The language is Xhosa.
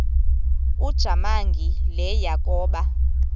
ujamangi le yakoba